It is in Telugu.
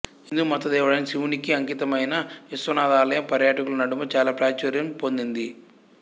హిందూ మతదేవుడైన శివునికి అంకితమైన విశ్వనాథ్ ఆలయం పర్యాటకులు నడుమ చాలా ప్రాచుర్యం పొందింది